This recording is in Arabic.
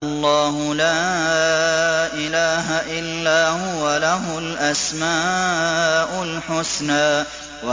اللَّهُ لَا إِلَٰهَ إِلَّا هُوَ ۖ لَهُ الْأَسْمَاءُ الْحُسْنَىٰ